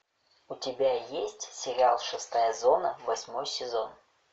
у тебя есть сериал шестая зона восьмой сезон